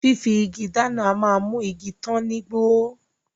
Fífi igi dáná a máa mú igi tán ní gbó